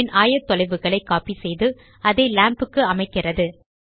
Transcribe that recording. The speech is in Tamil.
கியூப் ன் ஆயத்தொலைவுகளை கோப்பி செய்து அதை லாம்ப் க்கு அமைக்கிறது